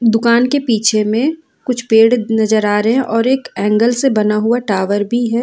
दुकान के पीछे में कुछ पेड़ नजर आ रहे हैं और एक एंगल से बना हुआ टावर भी है।